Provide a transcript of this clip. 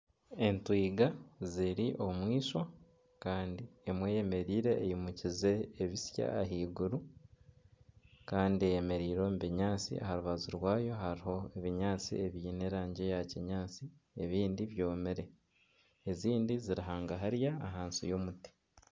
Entwiga ziri omu ishwa kandi emwe eyemereire eyimukize ebitsya ahaiguru kandi eyemereire omu binyaatsi aha rubaju rwayo hariho ebinyaatsi ebiine erangi eya kinyaatsi ebindi byomire ezindi ziri hagahariyo ahansi y'omuti